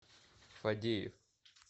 фадеев